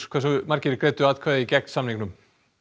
hversu margir greiddu atkvæði gegn samningnum